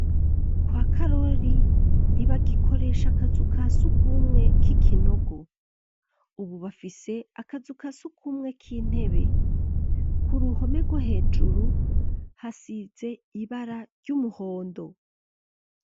Kwa karori ntibagikoresha akazu ka sugumwe k'ikinogo, ubu bafise akazu ka sugumwe k'intebe. Ku ruhome rwo hejuru hasize ibara ry'umuhondo.